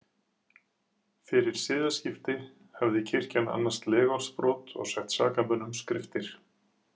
Fyrir siðaskipti hafði kirkjan annast legorðsbrot og sett sakamönnum skriftir.